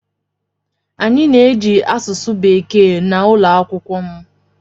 Anyị na-eji asụsụ bekee na ụlọ akwụkwọ m.